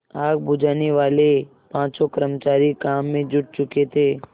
आग बुझानेवाले पाँचों कर्मचारी काम में जुट चुके थे